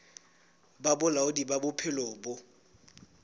ba bolaodi ba bophelo bo